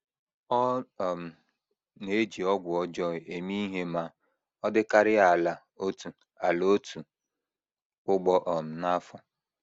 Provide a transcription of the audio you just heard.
Ọ um na - eji ọgwụ ọjọọ eme ihe ma ọ dịkarịa ala otu ala otu ugbo um n’afọ.